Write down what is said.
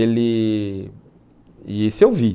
Ele e esse eu vi.